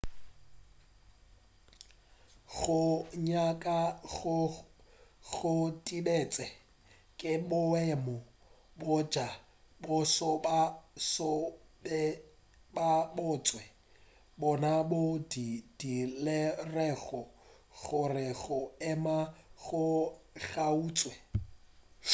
go nyaka goo go thibetšwe ke boemo bja boso ba go se be gabotse bona boo bo dirilego gore go ema go kgaotšwe